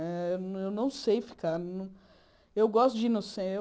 Eh eu não sei ficar... Eu gosto de ir no